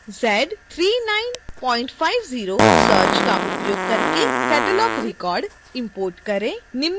z3950 search का उपयोग करके catalogue रिकॉर्ड इम्पोर्ट करें